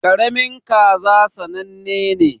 Karamin kaza sannane ne.